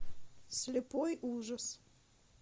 слепой ужас